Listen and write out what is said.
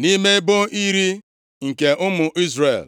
nʼime ebo iri nke ụmụ Izrel.